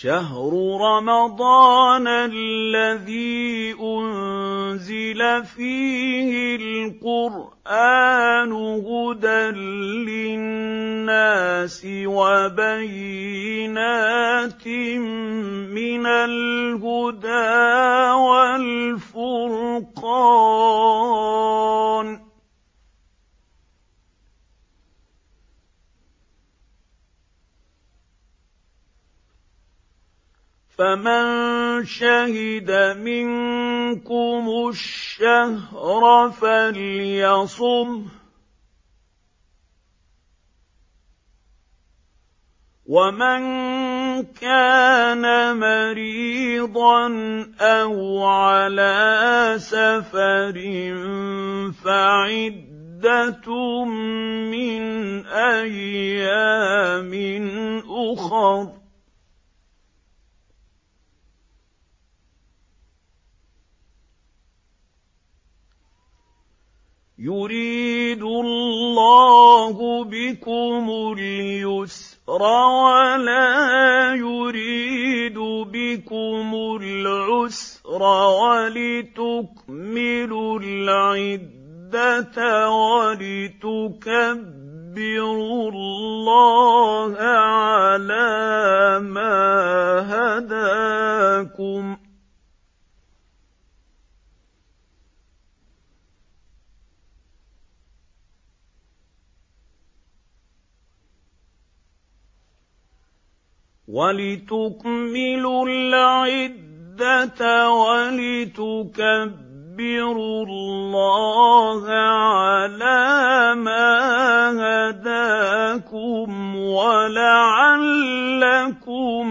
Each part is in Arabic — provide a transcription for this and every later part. شَهْرُ رَمَضَانَ الَّذِي أُنزِلَ فِيهِ الْقُرْآنُ هُدًى لِّلنَّاسِ وَبَيِّنَاتٍ مِّنَ الْهُدَىٰ وَالْفُرْقَانِ ۚ فَمَن شَهِدَ مِنكُمُ الشَّهْرَ فَلْيَصُمْهُ ۖ وَمَن كَانَ مَرِيضًا أَوْ عَلَىٰ سَفَرٍ فَعِدَّةٌ مِّنْ أَيَّامٍ أُخَرَ ۗ يُرِيدُ اللَّهُ بِكُمُ الْيُسْرَ وَلَا يُرِيدُ بِكُمُ الْعُسْرَ وَلِتُكْمِلُوا الْعِدَّةَ وَلِتُكَبِّرُوا اللَّهَ عَلَىٰ مَا هَدَاكُمْ وَلَعَلَّكُمْ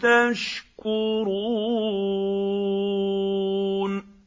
تَشْكُرُونَ